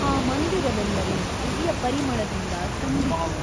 ಆ ಮಂದಿರವೆಲ್ಲವೂ ದಿವ್ಯ ಪರಿಮಳದಿಂದ ತುಂಬಿತು.